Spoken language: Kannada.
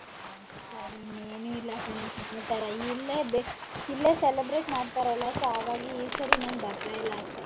ಹ್ಮ್ ಸರಿ ಇನ್ನೇನು ಇಲ್ಲ ಕಣೆ ಸಮಾಚಾರ ಇಲ್ಲೇ ಬಿ ಇಲ್ಲೇ celebrate ಮಾಡ್ತಾರಲ್ಲ so ಹಾಗಾಗಿ ಈ ಸರಿ ನಾನ್ ಬರ್ತಾ ಇಲ್ಲ ಅಷ್ಟೇ.